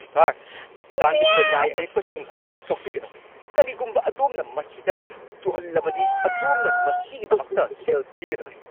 Sir, ꯆꯥꯟꯕꯤꯗꯨꯅ ꯂꯥꯏ ꯑꯌꯦꯛꯄꯁꯤꯡ ꯑꯗꯨ ꯁꯣꯛꯄꯤꯒꯅꯨ! ꯀꯔꯤꯒꯨꯝꯕ ꯑꯗꯣꯝꯅ ꯃꯁꯤꯗ ꯆꯨꯍꯜꯂꯕꯗꯤ, ꯑꯗꯣꯝꯅ ꯃꯁꯤꯒꯤꯗꯃꯛꯇ ꯁꯦꯜ ꯊꯤꯒꯗꯕꯅꯤ꯫